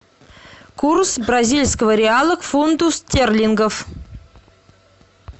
курс бразильского реала к фунту стерлингов